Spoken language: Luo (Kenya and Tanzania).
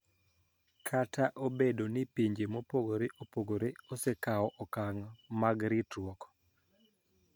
Kata obedo ni pinje mopogore opogore osekawo okang` mag ritruok